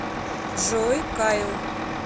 джой кайл